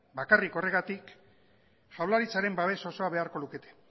bakarrik horregatik jaurlaritzaren babes oso beharko lukete